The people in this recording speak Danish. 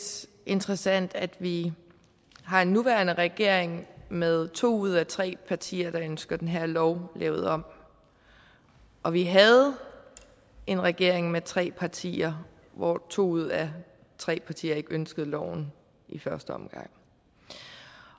interessant at vi har en nuværende regering med to ud af tre partier der ønsker den her lov lavet om og vi havde en regering med tre partier hvor to ud af tre partier ikke ønskede loven i første omgang